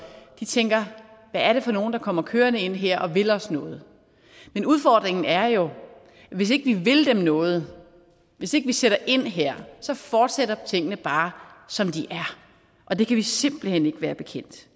tænker hvad er det for nogen der kommer kørende ind her og vil os noget men udfordringen er jo at hvis ikke vi vil dem noget hvis ikke vi sætter ind her fortsætter tingene bare som de er og det kan vi simpelt hen ikke være bekendt